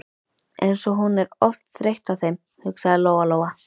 Eins og hún er oft þreytt á þeim, hugsaði Lóa Lóa.